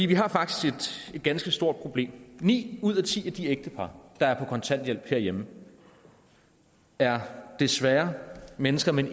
vi har faktisk et ganske stort problem ni ud af ti af de ægtepar der er på kontanthjælp herhjemme er desværre mennesker med